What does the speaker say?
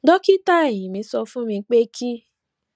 dókítà eyín mi sọ fún mi pé kí